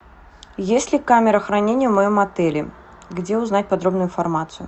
есть ли камера хранения в моем отеле где узнать подробную информацию